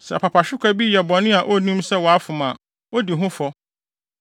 “ ‘Sɛ apapahwekwa bi yɛ bɔne a onnim sɛ wafom a, odi ho fɔ.